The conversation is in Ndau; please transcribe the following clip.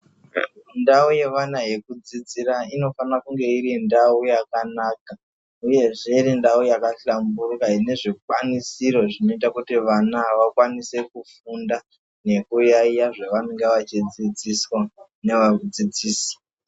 Ndau yeana yekudzidzira inofana kunge iri ndau yakanaka, uyezve iri ndau yakahlamburuka ine zvikwanisiro zvinoita kuti vana vakwanise kufunda nekuyaiya zvavanenge vachidzidziswa nevadzidzisi.